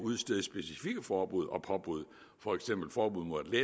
udstede specifikke forbud og påbud for eksempel forbud mod at